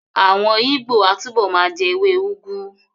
Àwọn Ìgbó á túbọ̀ ma jẹ́ ewé úgú